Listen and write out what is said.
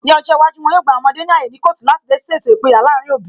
Ní ọjọ́ iwájú, wọn yóò gba àwọn ọmọdé ní ààyè ní kọọtu láti dá sí ètò ìpínyà láàrin òbí